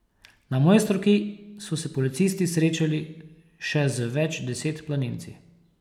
Na Mojstrovki so se policisti srečali še z več deset planinci.